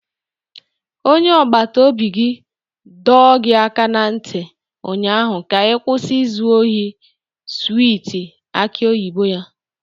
Onye agbata obi gị dọọ gị aka na ntị ụnyaahụ ka kwụsị izu ohi swiiti aki oyibo ya!